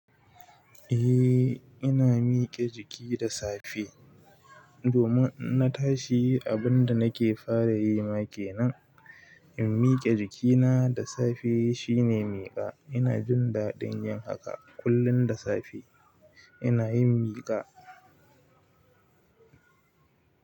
Eh ina miƙe jiki da safe domin na tashi abinda nake fara yima kenan in miƙe jikina da safe shine miƙa ina jin daɗin yin haka kullum da safe ina yin miƙa.